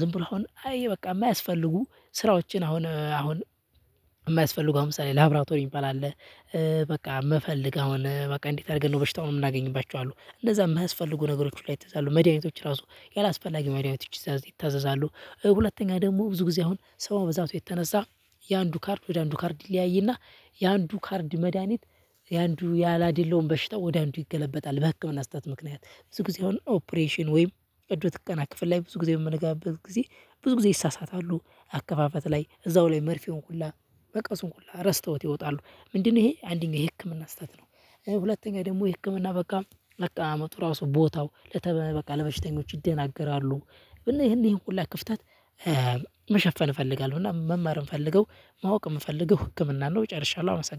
ዝም ብሎ አሁን አይ በቃ የማያስፈልጉ ስራዎችን አሁን አሁን የማያስፈልጉ ምሳሌ ላብራቶሪ የሚባል አለ። በቃ ፈልለግ አሁን በቃ እንዴት አድርገን ነው በሽታውን የምናገኝባቸው አሉ። እንደዛ የማያስፈልጉ ነገሮች ላይ ይታዛሉ። መድኃኒቶች ራሱ ያላስፈላጊ መድኃኒቶች ይታዛሉ። ሁለተኛ ደግሞ ብዙ ጊዜ አሁን ሰው ከመብዛቱ የተነሳ የአንዱ ካርድ ወደ አንዱ ካርድ ሊያይና የአንዱ ካርድ መድሃኒት የአንዱ ያላደላውን በሽታ ወደ አንዱ ይገለበጣል። በህክምና ስህተት ምክንያት ብዙ ጊዜ አሁን ኦፕሬሽን ወይም እድሉ ትቀና ክፍል ላይ ብዙ ጊዜ የምንገባበት ጊዜ ብዙ ጊዜ ይሳሳታሉ። አካፋፈት ላይ እዛው ላይ መርፌውን ሁላ በቃ እሱን ሁላ ረስተውት ይወጣሉ። ምንድነው ይሄ አንደኛው የህክምና ስህተት ነው። ሁለተኛ ደግሞ የህክምና በቃ በቃ አመቱ ራሱ ቦታው ለበሽተኞች ይደናገራሉ። እና ይሄን ሁሉ ክፍተት መሸፈን እፈልጋለሁ። እና መማርም ምፈልገው ማወቅም ምፈልገው ህክምናን ነው። ጨርሻለሁ አመሰግናለሁ።